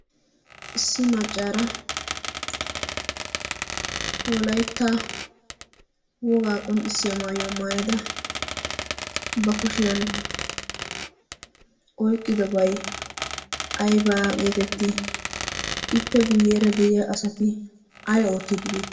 issi maccaara wolaitta wogaa qonccissiya maayuwaa maayada ba kushiyan oiqqidobai aibaa geetetti? ippe guyyeera de7iya asati ai oottiiddi beeti?